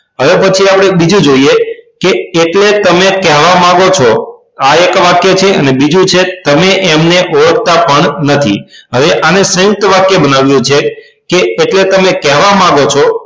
હવે પછી આપડે એક બીજું જોઈએ કે કેટલે તમે કહેવા માંગો છો આ એક વાક્ય છે અને બીજું છે તમે એમને ઓળખતા પણ નથી હવે આને સયુંકત વાક્ય બનાવવું છે કે કેટલે તમે કહેવા માંગો છો